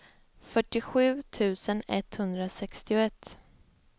fyrtiosju tusen etthundrasextioett